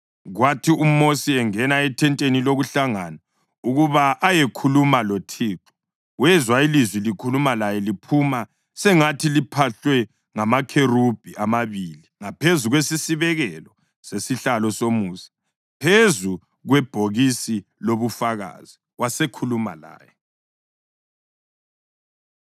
Kwathi uMosi engena ethenteni lokuhlangana ukuba ayekhuluma loThixo, wezwa ilizwi likhuluma laye liphuma sengathi liphahlwe ngamakherubhi amabili ngaphezu kwesisibekelo sesihlalo somusa, phezu kwebhokisi lobuFakazi. Wasekhuluma laye.